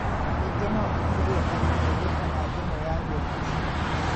ningĩ no ũgirie arutwo gũka na thimũ ya gũoko cukuru.